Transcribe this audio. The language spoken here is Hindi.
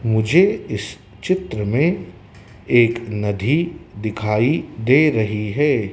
मुझे इस चित्र में एक नधी दिखाई दे रही है।